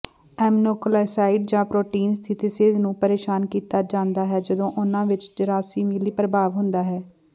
aminoglycosides protein synthesis ਨੂੰ ਪਰੇਸ਼ਾਨ ਕੀਤਾ ਜਾਂਦਾ ਹੈ ਜਦੋਂ ਉਨ੍ਹਾਂ ਵਿੱਚ ਜਰਾਸੀਮੀਲੀ ਪ੍ਰਭਾਵ ਹੁੰਦਾ ਹੈ